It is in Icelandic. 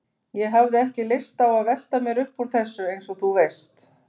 Ég hafði ekki lyst á að velta mér upp úr þessu, eins og þú veist.